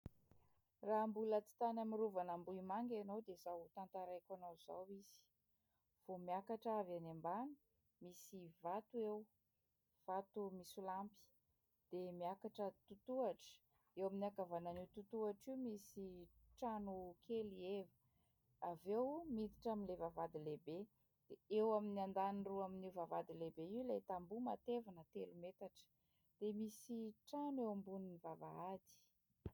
Raha mbola tsy tany amin'ny rovana Ambohimanga ianao dia izao ho tantaraiko anao izao izy. Vao miakatra avy any ambany misy vato eo vato misolampy dia miakatra totohatra. Eo amin'ny ankavanana io totohatra io misy trano kely heva. Avy eo miditra amin'ilay vavahady lehibe, dia eo amin'ny andaniny roa amin'io vavahady lehibe io ilay tamboho matevina telo metatra, dia misy trano eo ambonin'ny vavahady.